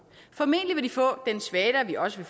formentlig vil de få den svada vi også